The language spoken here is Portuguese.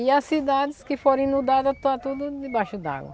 E as cidades que foram inundadas está tudo debaixo d'água.